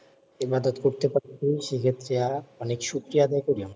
ইবাদাত করতে পারতেছি সেক্ষেত্রে অনেক শুকরিয়া আদায় করি।